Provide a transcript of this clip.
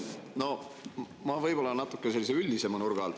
Ma küsin küsimuse võib-olla natuke üldisema nurga alt.